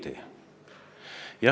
Aitäh!